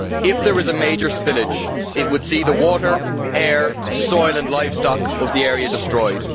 If there is a major spillage it would see the water, air, soil and livestock of the area destroyed.